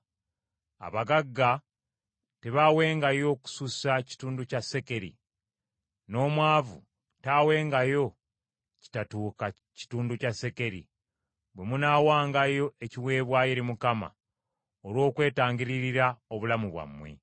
Abagagga tebaawengayo kusussa kitundu kya sekeri, n’omwavu taawengayo kitatuuka kitundu kya sekeri bwe munaawangayo ekiweebwayo eri Mukama olw’okwetangirira obulamu bwammwe.